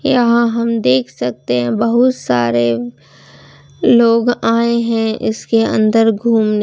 यहां हम देख सकते हैं बहुत सारे लोग आए हैं इसके अंदर घूमने।